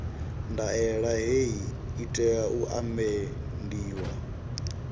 ndaela hei i tea u amendiwa